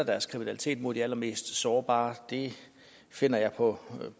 deres kriminalitet mod de allermest sårbare finder jeg på